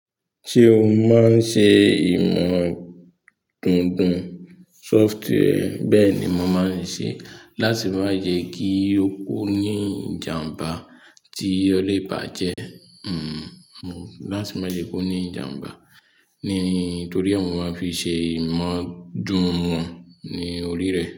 Ṣé o máa ń ṣe ìmọ̀ dùndún soft hair? Bẹ́ẹ̀ ni mo máa ń ṣe láti má jẹ kí ó kú ní ìjàmbá tí ọlé ìbàjẹ́, hmm, láti má jẹ kó ní ìjàmbá. Ní, torí ọ̀ún màá fi ṣe ìmọ̀ dùndún wọn ní orí rẹ̀